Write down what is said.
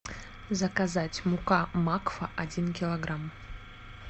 заказать мука макфа один килограмм